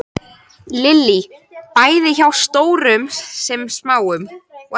Lillý: Bæði hjá stórum sem smáum?